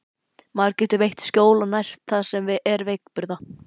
Maður getur veitt skjól og nært það sem er veikburða.